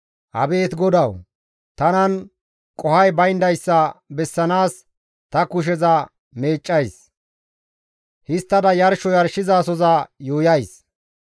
Abeet GODAWU! Tanan qohoy bayndayssa bessanaas ta kusheza meeccays; histtada yarsho yarshizasoza yuuyays.